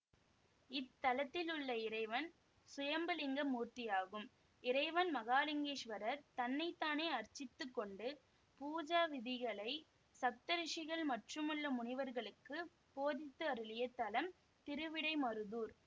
இத்தலத்தில் உள்ள இறைவன் சுயம்பு லிங்க மூர்த்தியாகும் இறைவன் மகாலிங்கேஸ்வரர் தன்னை தானே அர்ச்சித்துக் கொண்டு பூஜா விதிகளை சப்தரிஷிகள் மற்றுமுள்ள முனிவர்களுக்கு போதித்து அருளிய தலம் திருவிடைமருதூர்